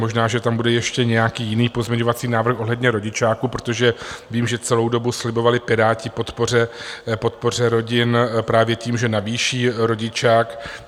Možná že tam bude ještě nějaký jiný pozměňovací návrh ohledně rodičáku, protože vím, že celou dobu slibovali Piráti podporu rodin právě tím, že navýší rodičák.